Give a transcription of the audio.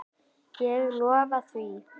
Ég lofa því.